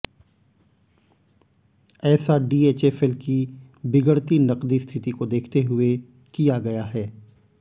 ऐसा डीएचएफएल की बिगड़ती नकदी स्थिति को देखते हुये किया गया है